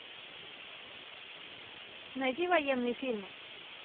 найди военные фильмы